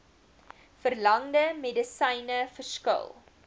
verlangde medisyne verskil